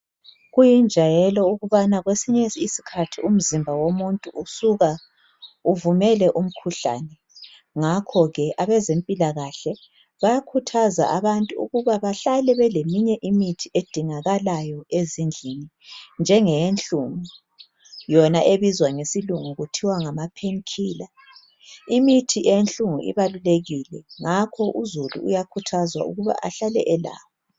Kuyinjayelo ukubana kwesinye isikhathi umzimba womuntu usuka uvumele umkhuhlane ngakho ke abezempilakahle bayakhuthaza abantu ukuba bahlale beleminye imithi edingakalayo ezindlini njengeyenhlungu ebizwa ngokuthi ngamapain killer. Imithi yesilungu ibalulekile ngakho uzulu uyakhuthazwa ukuba ahlale elayo.